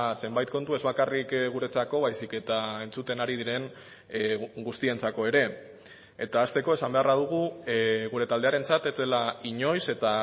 zenbait kontu ez bakarrik guretzako baizik eta entzuten ari diren guztientzako ere eta hasteko esan beharra dugu gure taldearentzat ez dela inoiz eta